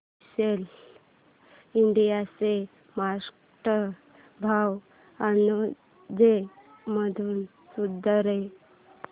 Gillette India चा market भाव अंदाजे कधी सुधारेल